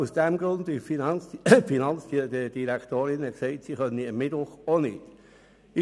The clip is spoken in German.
Dies nur, weil die Finanzdirektorin befand, ihr passe es am Mittwoch auch nicht.